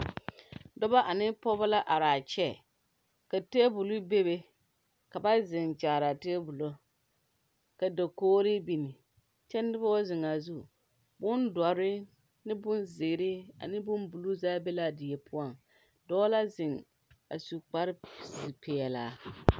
Dɔba ane pɔgeba la are a kyɛ ka tabole bebe ka ba ziŋ kyaaraa tabol ka kogree biŋ kyɛ noba ba ziŋ a zu boŋ dɔre ane boŋ zeere ane boŋ buluu zaa be la a dieŋ dɔɔ la ziŋ a su kpare pilaa.